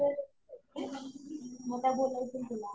मग काय बोलायचंय तुला?